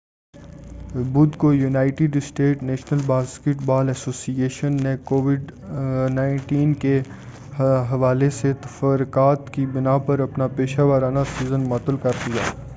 بُدھ کویونائیٹڈ States National basketball association N B A نے کووڈ-19 کے حوالے سے تفکّرات کی بناء پر اپنا پیشہ ورانہ سیزن معطل کردیا۔